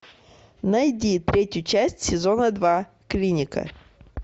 найди третью часть сезона два клиника